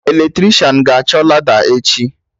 Eletricịan ga-achọ lada echi